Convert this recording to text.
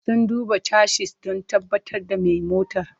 Sun duba chassis don tabbatar da mai motar.